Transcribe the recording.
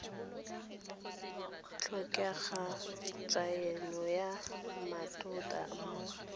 tlhokega tshaeno ya mmatota mo